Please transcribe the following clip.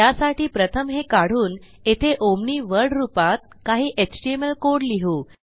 त्यासाठी प्रथम हे काढून येथे ओमनी वर्ड रूपात काही एचटीएमएल कोड लिहू